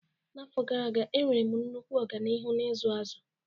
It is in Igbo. N'afọ gara aga, enwere m nnukwu ọganihu n'ịzụ azụ.